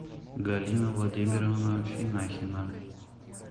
галина владимировна финахина